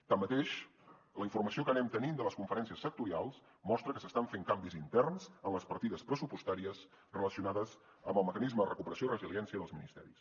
tanmateix la informació que anem tenint de les conferències sectorials mostra que s’estan fent canvis interns en les partides pressupostàries relacionades amb el mecanisme de recuperació i resiliència dels ministeris